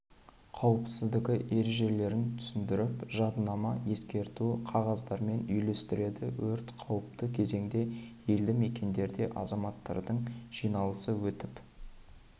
қауіпсіздігі ережелерін түсіндіріп жадынама ескерту қағаздарын үйлестіреді өрт қауіпті кезеңде елді мекендерде азаматтардың жиналысы өтіп